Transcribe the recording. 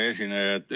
Hea esineja!